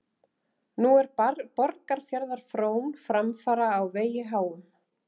Nú er Borgarfjarðar frón framfara á vegi háum.